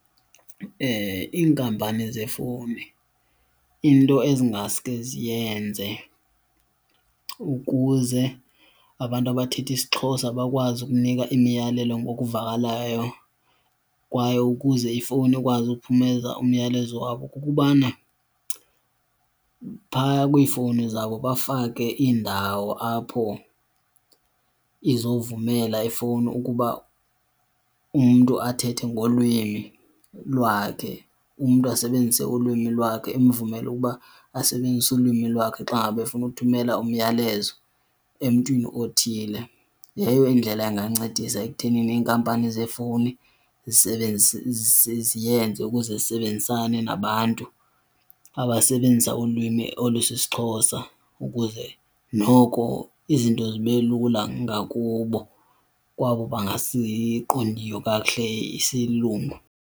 Iinkampani zeefowuni into ezingaske ziyenze ukuze abantu abathetha isiXhosa bakwazi ukunika imiyalelo ngokuvakalayo kwaye ukuze ifowuni ikwazi ukuphumeza umyalezo wabo kukubana phaya kwiifowuni zabo bafake iindawo apho izovumela ifowuni ukuba umntu athethe ngolwimi lwakhe, umntu asebenzise ulwimi lwakhe. Imvumela uba asebenzise ulwimi lwakhe xa ngaba efuna ukuthumela umyalezo emntwini othile. Leyo indlela angancedisa ekuthenini iinkampani zeefowuni ziyenze ukuze zisebenzisane nabantu abasebenzisa ulwimi olusisiXhosa ukuze noko izinto zibe lula ngakubo kwabo bangasiqondiyo kakuhle isilungu.